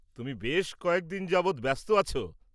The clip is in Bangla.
তুমি বেশ কয়েকদিন যাবত ব্যাস্ত আছ।